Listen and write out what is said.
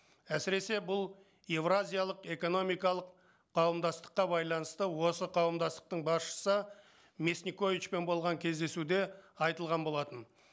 әсіресе бұл еуразиялық экономикалық қауымдастыққа байланысты осы қауымдастықтың басшысы мясниковичпен болған кездесуде айтылған болатын